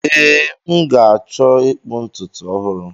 Ee, m ga-achọ ịkpụ ntutu ọhụrụ.